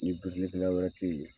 Ni birilikɛla wɛrɛ te yen